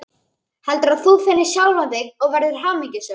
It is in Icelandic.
Heldur að þú finnir sjálfan þig og verðir hamingjusöm.